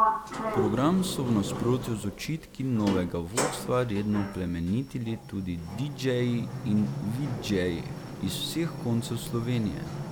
Program so v nasprotju z očitki novega vodstva redno plemenitili tudi didžeji in vidžeji iz vseh koncev Slovenije.